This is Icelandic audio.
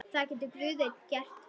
Það getur Guð einn gert.